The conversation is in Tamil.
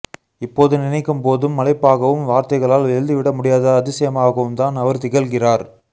இப்போது நினைக்கும் போதும் மலைப்பாகவும் வார்த்தைகளால் எழுதிவிட முடியாத அதிசயமாகவும்தான் அவர் திகழ்கிறார்